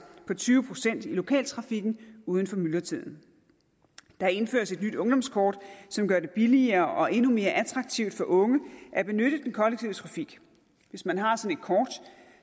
på tyve procent i lokaltrafikken uden for myldretiden der indføres et nyt ungdomskort som gør det billigere og endnu mere attraktivt for unge at benytte den kollektive trafik hvis man har